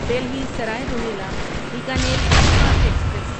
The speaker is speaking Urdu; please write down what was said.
Delhi Sarai Rohilla Bikaner superfast express